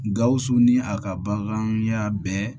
Gawusu ni a ka baganya bɛɛ